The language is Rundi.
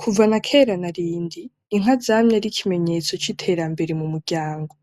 Kuva nakera narindi, Inka zamye ari ikimenyetso c'iterambere mumuryango,